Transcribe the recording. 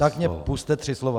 Tak mi pusťte tři slova.